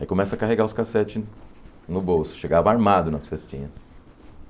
Aí começa a carregar os cassetes no bolso, chegava armado nas festinhas.